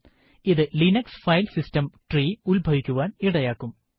ഇത് Linux file system tree ഉത്ഭവിക്കുവാൻ ഇടയാകും